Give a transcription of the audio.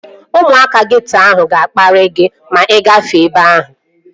Ụmụaka geeto ahụ ga-akparị gị ma ị gafee ebe ahụ